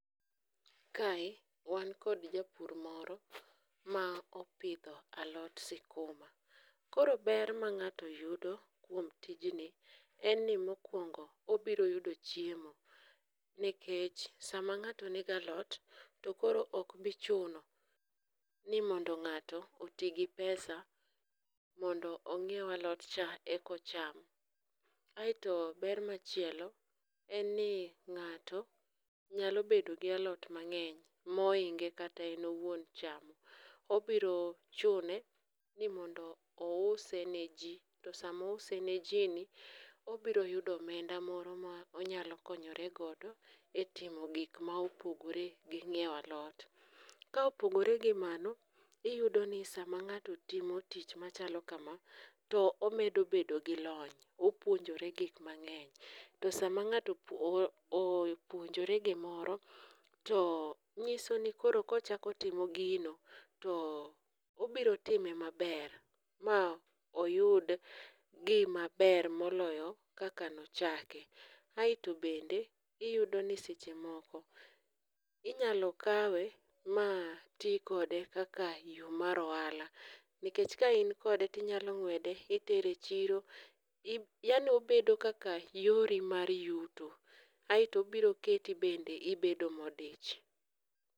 Kae wan kod japur moro ma opidho alot sikuma, koro ber ma ng'ato yudo kuom tijni en ni mokwongo obiro yudo chiemo nikech sama ng'ato nigi alot, to koro ok bi chuno ni mondo ng'ato oti gi pesa mondo ong'iew alotcha mondo eka ocham, aeto ber machielo en ni ng'ato nyalo bedo gi alot mang'eny mohinge kata en owuon chamo, obiro chune ni mondo ouse ni ji, to sama ouse ne ji ni, obiro yudo omenda moro monyalo konyore godo e timo gik ma opogore gi ng'iewo alot, ka opogore gi mano, iyudo ni sama ng'ato timo tij machalo kama, to omedo bedo gi lony, opuonjore gik mang'eny, to sama ng'ato opuonjore gimoro, to ng'iso ni koro kochako otimo gino, to obiro time maber ma oyud gimaber moloyo kaka nochake, aeto bende iyudo ni seche moko inyalo kawe ma ti kode kaka yo mar ohala, ikech ka in kode tinyalo ng'wede itere e chiro, yaani obedo kaka yori mar yuto, aetoi obiro keti bende ibedo modich.